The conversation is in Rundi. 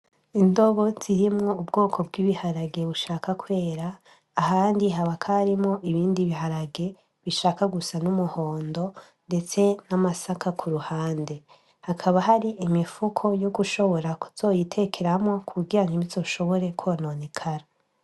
Indobo zirimwo ubwoko bw'ibiharage bushaka kwera ahandi ha bakarimo ibindi biharage bishaka gusa n'umuhondo, ndetse n'amasaka ku ruhande hakaba hari imifuko yo gushobora kuzoyitekeramwo ku bugyanka imizo ushobore kwononaikara.